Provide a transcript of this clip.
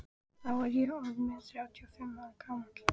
Þá var ég orð inn þrjátíu og fimm ára gamall.